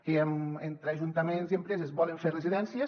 que entre ajuntaments i empreses volen fer residències